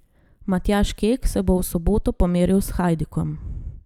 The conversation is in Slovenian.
Matjaž Kek se bo v soboto pomeril s Hajdukom.